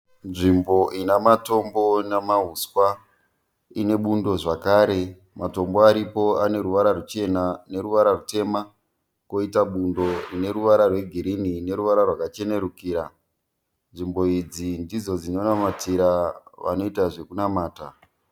Nzvimbo ina matombo namahuswa ine bundo zvakare, matombo ane ruvara ruchena neruvara rutema poita bundo rune ruvara rwegirini neruvara rwakachenurukira. Nzvimbo idzi ndidzo dzinonamatira vanoita zvekunamata.